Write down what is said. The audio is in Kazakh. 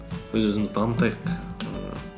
өз өзімізді дамытайық ііі